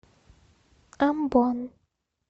амбон